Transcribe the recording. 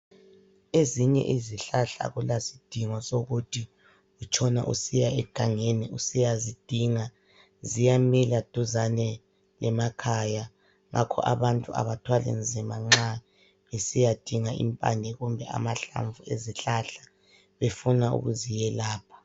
Ezinye izihlahla akulasidingo sokuthi utshone usiya egangeni usiyazidinga. Ziyamila duzane lemakhaya, ngakho abantu abathwali inzima nxa besiyadinga impande kumbe amahlamvu, befuna ukuziyelapha